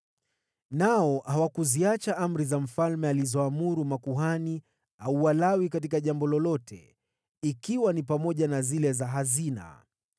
Nao hawakuziacha amri za mfalme alizoamuru makuhani au Walawi katika jambo lolote, ikiwa ni pamoja na zile za hazina.